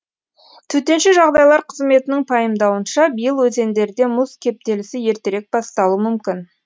төтенше жағдайлар қызметінің пайымдауынша биыл өзендерде мұз кептелісі ертерек басталуы мүмкін